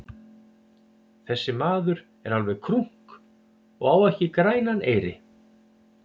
Þessi maður er alveg krunk og á ekki grænan eyri.